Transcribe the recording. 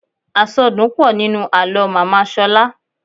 Àsọdùn pọ̀ nínú àlọ́ màmá Ṣọlá.